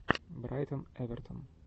брайтон эвертон